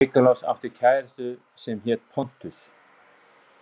Niklas átti kærasta sem hét Pontus.